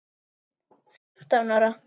Fimmtán ára.